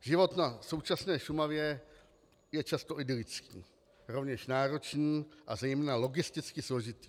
Život na současné Šumavě je často idylický, rovněž náročný a zejména logisticky složitý.